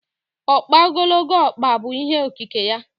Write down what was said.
Ọkpa ogologo ọkpa bụ ihe okike ya.